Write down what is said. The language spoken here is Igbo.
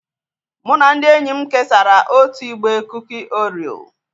Mụ na ndị enyi m kesara otu igbe kuki Orio.